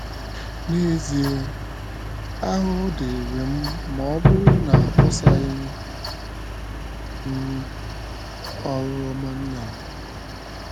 N’ezie, ahụhụ dịịrị m ma ọ bụrụ na akpọsaghị m oru ọma Nnam! ”